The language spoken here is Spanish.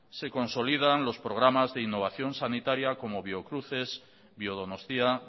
se consolidan los programa de innovación sanitaria como biocruces biodonostia